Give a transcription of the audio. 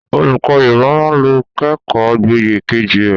Olùkọ́ Yorùbá máa lọ kẹ́kọ̀ọ́ gboyè kejì rẹ